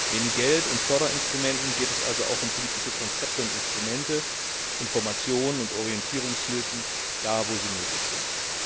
Neben Geld und Förderinstrumenten geht es also auch um politische Konzepte und Instrumente, Informationen und Orientierungshilfen da, wo sie nötig sind.